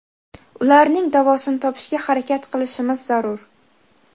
ularning davosini topishga harakat qilishimiz zarur.